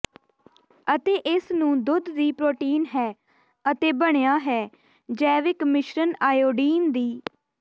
ਅਤੇ ਇਸ ਨੂੰ ਦੁੱਧ ਦੀ ਪ੍ਰੋਟੀਨ ਹੈ ਅਤੇ ਬਣਿਆ ਹੈ ਜੈਵਿਕ ਮਿਸ਼ਰਣ ਆਇਓਡੀਨ ਦੀ